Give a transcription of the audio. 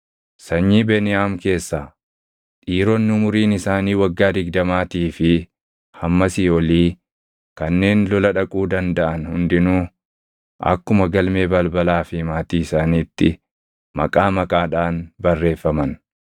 Sanyii Beniyaam keessaa: Dhiironni umuriin isaanii waggaa digdamaatii fi hammasii olii kanneen lola dhaquu dandaʼan hundinuu akkuma galmee balbalaa fi maatii isaaniitti maqaa maqaadhaan barreeffaman.